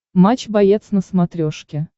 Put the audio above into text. матч боец на смотрешке